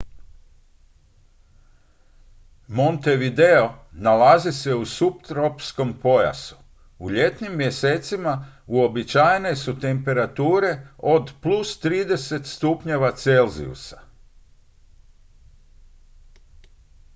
montevideo nalazi se u suptropskom pojasu; u ljetnim mjesecima uobičajene su temperature od +30°c